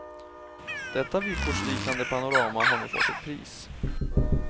Detta vykortsliknande panorama har nu fått ett pris.